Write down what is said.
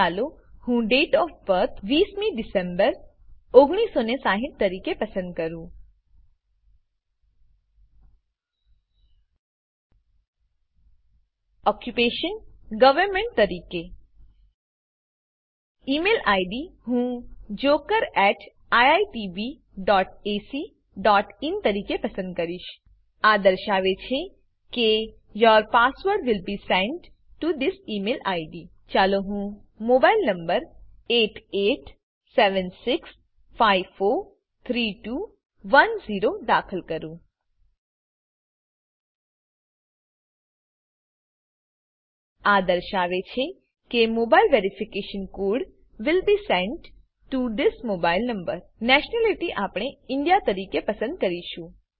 ચાલો હું date of birth ૨૦ મી ડીસેમ્બર ૧૯૬૦ તરીકે પસંદ કરું ઓક્યુપેશન ગવર્નમેન્ટ તરીકે ઇ મેઇલ આઈડી હું jokeriitbacin તરીકે પસંદ કરીશ આ દર્શાવે છે કે your password will be sent to this email ID ચાલો હું મોબાઈલ નંબર 8876543210 દાખલ કરું આ દર્શાવે છે કે mobile verification code will be sent to this mobile number nationality આપણે ઇન્ડિયા તરીકે પસંદ કરીશું